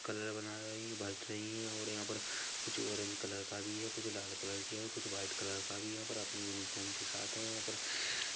colour बना रही है बांट रही है और यहाँ पर कुछ ऑरेंज कलर का बी है कुछ लाल कलर की है कुछ वाईट कलर का बी है यहाँ पर अपनी यूनिफॉर्म के साथ है यहाँ पर--